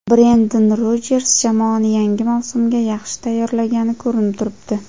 Brenden Rojers jamoani yangi mavsumga yaxshi tayyorlagani ko‘rinib turibdi.